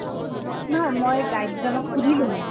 নহয় মই guide জনক সুধিলো মানে